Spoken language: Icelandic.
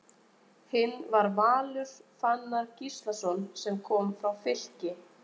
Hinn var Valur Fannar Gíslason sem kom frá Fylki.